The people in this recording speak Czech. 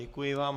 Děkuji vám.